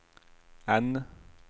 N